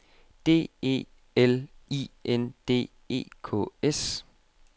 D E L I N D E K S